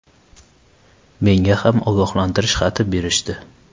Menga ham ogohlantirish xati berishdi.